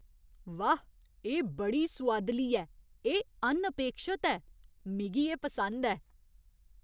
वाह! एह् बड़ी सुआदली ऐ, एह् अनअपेक्षत ऐ। मिगी एह् पसंद ऐ।